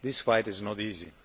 This fight is not easy.